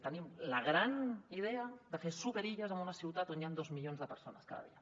tenim la gran idea de fer superilles en una ciutat on hi han dos milions de persones cada dia